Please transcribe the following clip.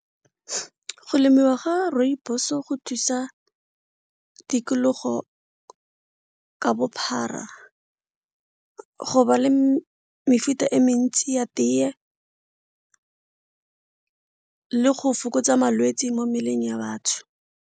Go lemiwa ga rooibos go thusa tikologo ka bophara go ba le mefuta e mentsi ya teye le go fokotsa malwetsi mo mmeleng ya batho.